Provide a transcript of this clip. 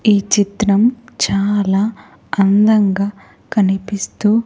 ఈ చిత్రం చాలా అందంగా కనిపిస్తూ--